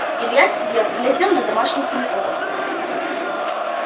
илья сидел глядел на домашний телефон